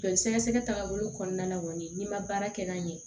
Joli sɛgɛsɛgɛ tagabolo kɔnɔna la kɔni n'i ma baara kɛ n'a ɲɛ